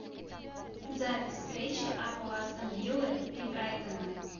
запись встречи апл астон виллы и брайтона